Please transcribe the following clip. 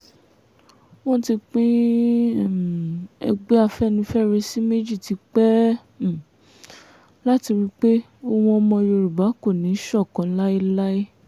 wọ́n ti pín um ẹgbẹ́ afẹ́nifẹ́re sí méjì tipẹ́ um láti rí i pé ohùn ọmọ yorùbá kò ní í ṣọ̀kan láéláé